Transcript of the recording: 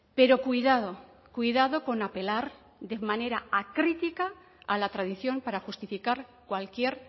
pero cuidado cuidado con apelar de manera acrítica a la tradición para justificar cualquier